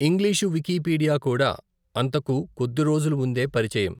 English Wikipedia కూడా అంతకు కొద్ది రోజుల ముందే పరిచయం.